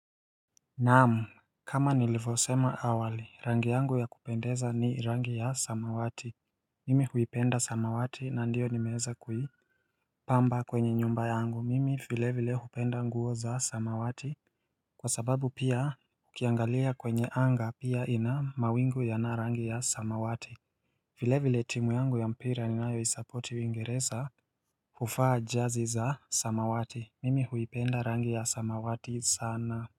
Naam kama nilivyo sema awali, rangi yangu ya kupendeza ni rangi ya samawati. Mimi huipenda samawati na ndio nimeweza kui. Pamba kwenye nyumba yangu, mimi vile vile hupenda nguo za samawati. Kwa sababu pia ukiangalia kwenye anga, pia ina mawingu ya na rangi ya samawati. Vile vile timu yangu ya mpira ni nayo isapoti uingereza huvaa jazi za samawati. Mimi huipenda rangi ya samawati sana.